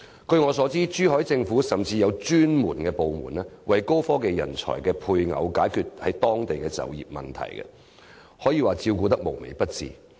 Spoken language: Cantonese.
據我所知，珠海政府甚至設有專責部門，為高科技人才的配偶解決在當地就業的問題，可說是照顧得無微不至。